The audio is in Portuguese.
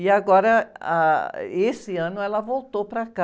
E agora, ah, esse ano ela voltou para cá,